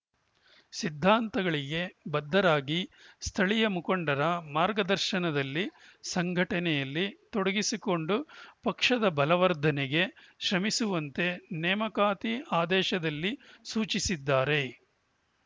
ಸಿದ್ದಾಂತಗಳಿಗೆ ಬದ್ಧರಾಗಿ ಸ್ಥಳೀಯ ಮುಖಂಡರ ಮಾರ್ಗದರ್ಶನದಲ್ಲಿ ಸಂಘಟನೆಯಲ್ಲಿ ತೊಡಗಿಸಿಕೊಂಡು ಪಕ್ಷದ ಬಲವರ್ಧನೆಗೆ ಶ್ರಮಿಸುವಂತೆ ನೇಮಕಾತಿ ಆದೇಶದಲ್ಲಿ ಸೂಚಿಸಿದ್ದಾರೆ